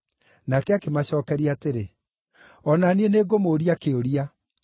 Nake akĩmacookeria atĩrĩ, “O na niĩ nĩngũmũũria kĩũria.